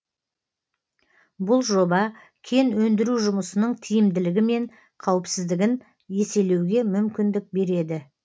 бұл жоба кен өндіру жұмысының тиімділігі мен қауіпсіздігін еселеуге мүмкіндік береді